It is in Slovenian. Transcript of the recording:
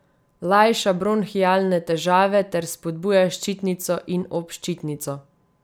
Lajša bronhialne težave ter spodbuja ščitnico in obščitnico.